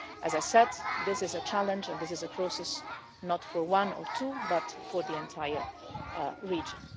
As I said, this is a challenge and this is a process, not for one or two countries, but for the entire region.